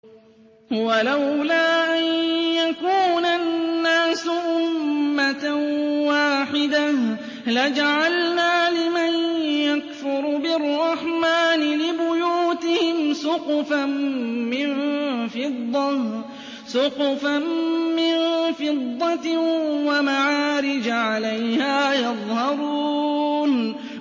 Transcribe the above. وَلَوْلَا أَن يَكُونَ النَّاسُ أُمَّةً وَاحِدَةً لَّجَعَلْنَا لِمَن يَكْفُرُ بِالرَّحْمَٰنِ لِبُيُوتِهِمْ سُقُفًا مِّن فِضَّةٍ وَمَعَارِجَ عَلَيْهَا يَظْهَرُونَ